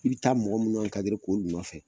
I bɛ taa mɔgɔ minnu ko ɲuman fɛ